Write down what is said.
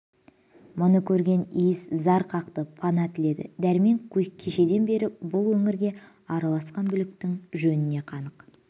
мұны көрген иіс зар қақты пана тіледі дәрмен кешеден бері бұл өңірге араласқан бүліктің жөніне қанық